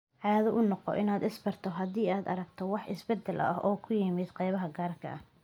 Caado u noqo inaad is-baarto haddii aad aragto wax isbeddel ah oo ku yimaadda qaybaha gaarka ah.